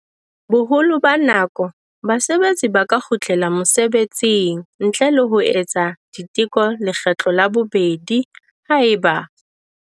Boholo ba nako, basebetsi ba ka kgutlela mosebetsing ntle le ho etsa diteko lekgetlo la bobedi haeba.